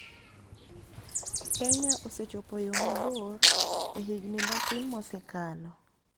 Kenya osechopo yo mabor e higni matin mosekalo